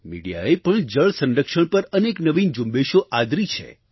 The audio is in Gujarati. મિડિયાએ પણ જળસંરક્ષણ પર અનેક નવીન ઝુંબેશો આદરી છે